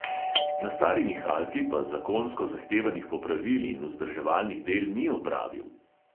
Na stari nihalki pa zakonsko zahtevanih popravil in vzdrževalnih del ni opravil.